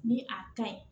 Ni a kaɲi